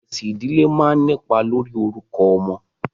Ẹ̀sìn ìdílé máa ń nípa lórí orúkọ ọmọ.